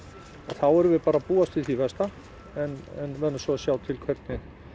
þá erum við bara að búast við því versta en verðum svo að sjá til hvernig